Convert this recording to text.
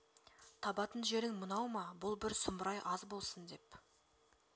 табатын жерің мынау ма бұл бір сұмырай аз болсын деп